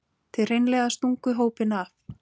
Þið hreinlega stunguð hópinn af.